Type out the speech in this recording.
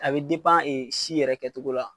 A be ee si yɛrɛ kɛ cogo la.